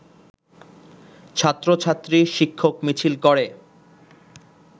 ছাত্রছাত্রী, শিক্ষক মিছিল করে